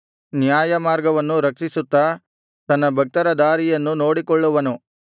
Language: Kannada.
ನ್ಯಾಯಮಾರ್ಗವನ್ನು ರಕ್ಷಿಸುತ್ತಾ ತನ್ನ ಭಕ್ತರ ದಾರಿಯನ್ನು ನೋಡಿಕೊಳ್ಳುವನು